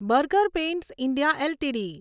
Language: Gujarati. burger Pants India LTD